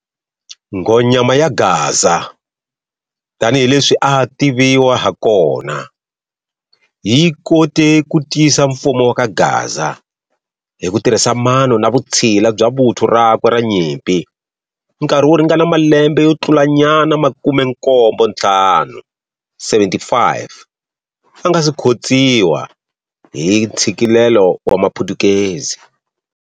Nghonyama ya Gaza, tani hi leswi a a tivewa ha kona, yi kote ku tiyisa mfumo wa kaGaza, hi ku tirhisa mano na vutsila bya vuthu rakwe ra nyimpi nkarhi wo ringana malembe yo tlulanyana makumenkombonthlanu, 75, a nga si khotsiwa hi ka ntsikelelo wa maphutukezi.